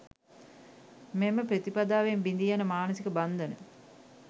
මෙම ප්‍රතිපදාවෙන් බිඳී යන මානසික බන්ධන